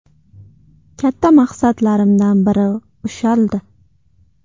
Katta maqsadlarimdan biri ushaldi.